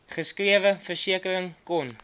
geskrewe versekering kon